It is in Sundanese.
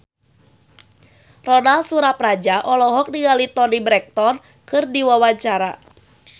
Ronal Surapradja olohok ningali Toni Brexton keur diwawancara